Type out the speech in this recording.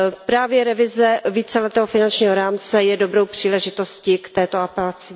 Právě revize víceletého finančního rámce je dobrou příležitostí k této apelaci.